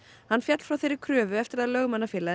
hann féll frá þeirri kröfu eftir að Lögmannafélagið